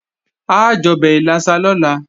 A jọbẹ̀ ìlàsà lọ́la